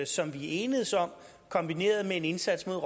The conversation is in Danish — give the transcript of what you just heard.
som vi enedes om kombineret med en indsats mod